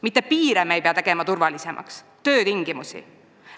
Mitte piire ei pea tegema turvalisemaks, vaid töötingimusi.